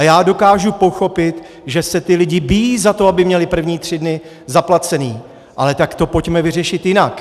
A já dokážu pochopit, že se ti lidi bijí za to, aby měli první tři dny zaplacené, ale tak to pojďme vyřešit jinak.